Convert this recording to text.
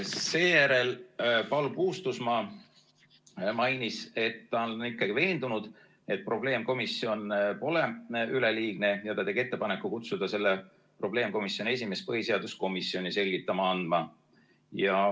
Seejärel Paul Puustusmaa mainis, et ta on veendunud, et probleemkomisjon pole üleliigne, ja ta tegi ettepaneku kutsuda selle probleemkomisjoni esimees põhiseaduskomisjoni selgitusi andma.